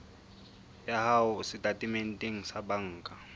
ya hao setatementeng sa banka